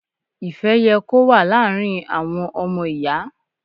Ìfẹ́ yẹ kó wà láàrin àwọn ọmọ Ìyà.